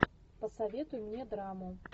посоветуй мне драму